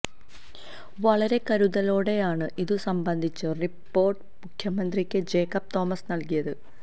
വളരെ കരുതലോടെയാണ് ഇതു സംബന്ധിച്ച റിപ്പോർട്ട് മുഖ്യമന്ത്രിക്ക് ജേക്കബ് തോമസ് നൽകിയത്